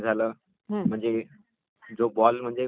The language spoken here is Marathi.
तो बॉल म्हणजे फेकतो वैगरे